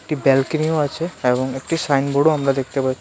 একটি ব্যালকনিও আছে এবং একটি সাইনবোর্ডও আমরা দেখতে পাচ্ছি .